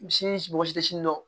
Misi mɔgɔ si tɛ si dɔn